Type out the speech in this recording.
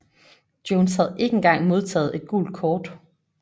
Jones havde ikke engang modtaget et gult kort